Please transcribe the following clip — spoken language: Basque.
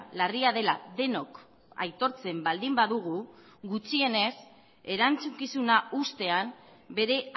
larria dela denok aitortzen baldin badugu gutxienez erantzukizuna uztean bere